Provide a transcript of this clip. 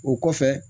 O kɔfɛ